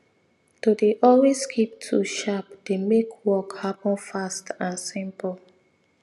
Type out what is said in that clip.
to dey always keep tools sharp dey make work happen fast and simple